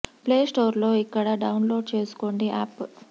play store లో ఇక్కడ download చేసుకోండి యాప్